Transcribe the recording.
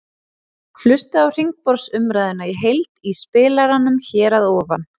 Hlustaðu á hringborðsumræðuna í heild í spilaranum hér að ofan.